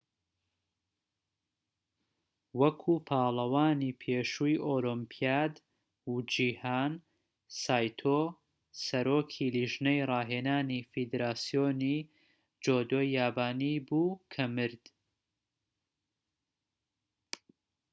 وەکو پاڵەوانی پێشووی ئۆلۆمپیاد و جیهان سایتۆ سەرۆکی لیژنەی ڕاهێنانی فیدراسیۆنی جودۆی یابانی بوو کە مرد